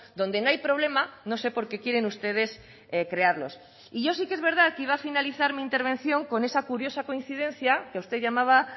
donde no hay problema no sé por qué quieren ustedes crearlos y yo sí que es verdad que iba a finalizar mi intervención con esa curiosa coincidencia que usted llamaba